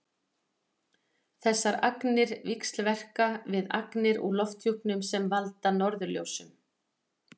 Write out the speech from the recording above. þessar agnir víxlverka við agnir í lofthjúpnum sem valda norðurljósum